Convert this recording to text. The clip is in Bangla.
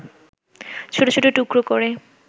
ছোট ছোট টুকরা করে